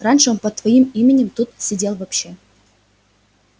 раньше он под своим именем тут сидел вообще